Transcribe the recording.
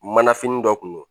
Manafini dɔ kun do